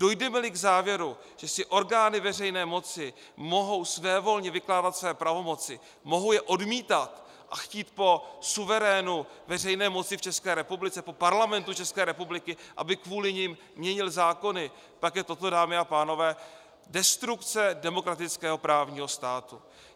Dojdeme-li k závěru, že si orgány veřejné moci mohou svévolně vykládat své pravomoci, mohou je odmítat a chtít po suverénu veřejné moci v České republice, po Parlamentu České republiky, aby kvůli nim měnil zákony, pak je toto, dámy a pánové, destrukce demokratického právního státu.